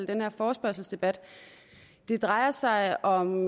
den her forespørgselsdebat det drejer sig om